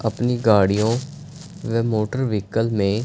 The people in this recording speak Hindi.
अपनी गाड़ियों वे मोटर व्हीकल में--